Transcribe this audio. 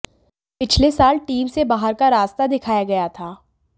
पिछले साल टीम से बाहर का रास्ता दिखाया गया था